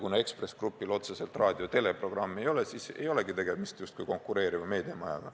Kuna Ekspress Grupil otseselt raadio- ja teleprogrammi ei ole, siis justkui polegi tegemist konkureeriva meediamajaga.